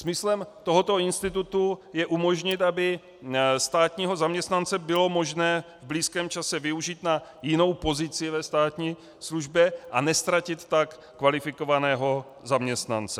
Smyslem tohoto institutu je umožnit, aby státního zaměstnance bylo možné v blízkém čase využít na jinou pozici ve státní službě a neztratit tak kvalifikovaného zaměstnance.